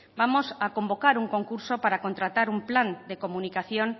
vamos a convocar un concurso para contratar un plan de comunicación